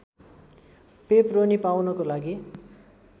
pepperoni पाउनको लागि